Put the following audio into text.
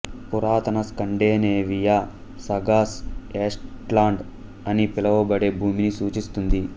పురాతన Scandinavia sagas Estland అని పిలవబడే భూమిని సూచిస్తుంది